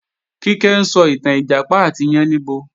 Kíkẹ́ ń sọ ìtàn Ìjàpá àti yáníbo